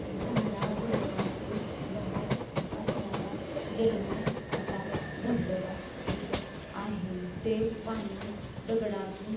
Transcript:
झाडा-झुडपातून वाहत असणारा जलमय असा धब-धबा दिसत आहे. ते पाणी दगडातून--